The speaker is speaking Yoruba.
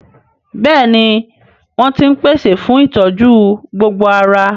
Bẹ́ẹ̀ni wọ́n ń pèsè fún ìtọ́jú gbogbo ara